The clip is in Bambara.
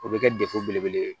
O bɛ kɛ dekun belebele ye